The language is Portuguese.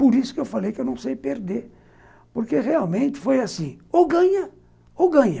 Por isso que eu falei que eu não sei perder, porque realmente foi assim, ou ganha, ou ganha.